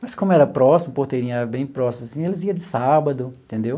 Mas como era próximo, Porteirinha era bem próximo assim, eles ia de sábado, entendeu?